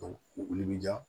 u wuli bɛ diya